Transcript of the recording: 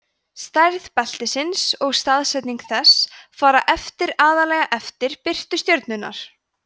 stærð beltisins og staðsetning þess fara eftir aðallega eftir birtu stjörnunnar